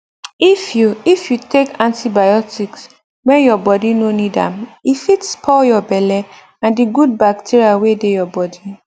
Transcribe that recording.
if you if you take antibiotics when your body no need am e fit spoil your belle and the good bacteria wey dey your bodi